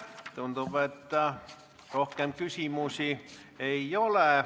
Tundub, et rohkem küsimusi ei ole.